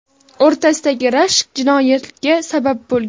o‘rtasidagi rashk jinoyatga sabab bo‘lgan.